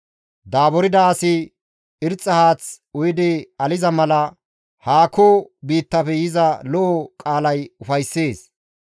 Daaburda asi irxxa haath uyidi aliza mala haakko biittafe yiza lo7o qaalay ufayssees.